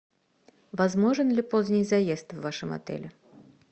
возможен ли поздний заезд в вашем отеле